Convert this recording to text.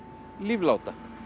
lífláta